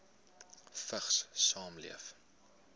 vigs saamleef